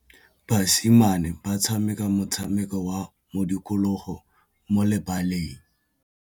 Basimane ba tshameka motshameko wa modikologô mo lebaleng.